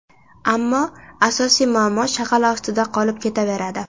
Ammo asosiy muammo shag‘al ostida qolib ketaveradi.